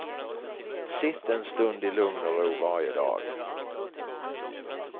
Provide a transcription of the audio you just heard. Sitt en stund i lugn och ro varje dag.